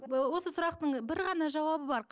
ы осы сұрақтың бір ғана жауабы бар